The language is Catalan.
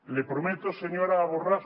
le prometo señora borràs